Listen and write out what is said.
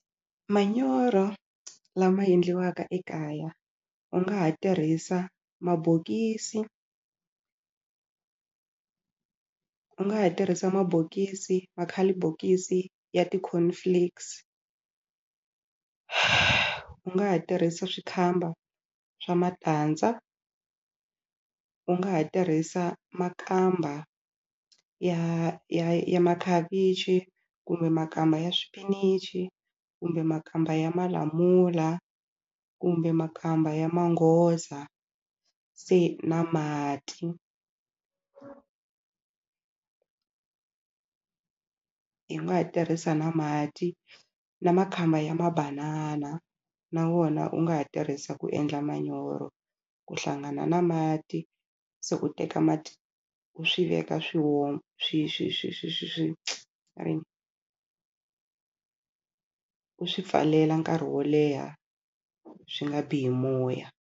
Manyoro lama endliwaka ekaya u nga ha tirhisa mabokisi u nga ha tirhisa mabokisi makhalibokisi ya ti-corn flakes u nga ha tirhisa swikamba swa matandza u nga ha tirhisa makamba ya ya ya makhavichi kumbe makamba ya swipinichi kumbe makamba ya malamula kumbe makamba ya manghoza se na mati hi nga ha tirhisa na mati na makamba ya mabanana na wona u nga ha tirhisa ku endla manyoro ku hlangana na mati se u teka mati u swi veka swi swi swi swi swi swi va ri yini u swi pfalela nkarhi wo leha swi nga biwi hi moya.